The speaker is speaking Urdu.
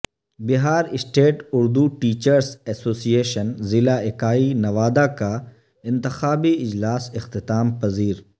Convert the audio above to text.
Bihar state Urdu Teachers Association ضلع اکائی نوادہ کا انتخابی اجلاس اختتام پذیر